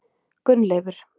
Gunnleifur